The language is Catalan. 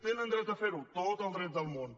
tenen dret a fer ho tot el dret del món